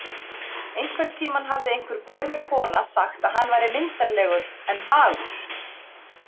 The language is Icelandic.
Einhvern tímann hafði einhver gömul kona sagt að hann væri myndarlegur en fagur